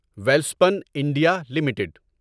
Welspun India limited